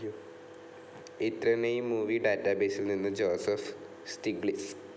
ഇത്രനേയ് movie ഡാറ്റാബേസിൽ നിന്നു Joseph Stiglitz